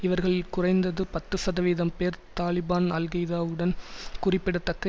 இவர்களில் குறைந்த்து பத்து சதவீதம் பேர் தாலிபான் அல்கெய்தாவுடன் குறிப்பிடத்தக்க